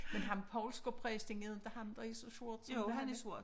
Men ham Poulsker præsten er det ikke ham der er så sort som er han ikke